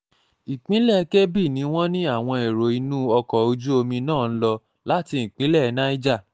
ìpínlẹ̀ kebbi ni wọ́n ní àwọn èrò inú ọkọ̀ ojú omi náà ń lò láti ìpínlẹ̀ niger